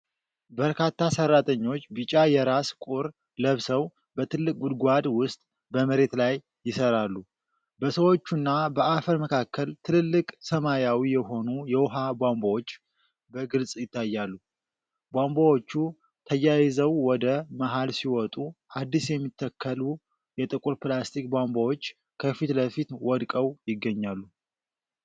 በርካታ ሠራተኞች ቢጫ የራስ ቁር ለብሰው በትልቅ ጉድጓድ ውስጥ በመሬት ላይ ይሠራሉ። በሰዎችና በአፈር መካከል ትልልቅ ሰማያዊ የሆኑ የውሃ ቧንቧዎች በግልጽ ይታያሉ። ቧንቧዎቹ ተያይዘው ወደ መሃል ሲመጡ፤ አዲስ የሚታከሉ የጥቁር ፕላስቲክ ቧንቧዎች ከፊት ለፊት ወድቀው ይገኛሉ።